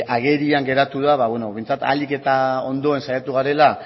agerian geratu da behintzat ahalik eta ondoen saiatu garela